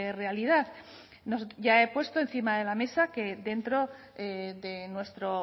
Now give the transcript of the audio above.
realidad ya he puesto encima de la mesa que dentro de nuestro